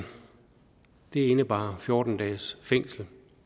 det indebar fjorten dages fængsel